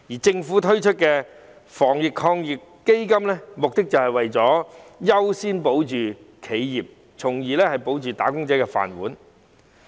政府推出的防疫抗疫基金，目的是為了優先保住企業，從而保住"打工仔"的"飯碗"。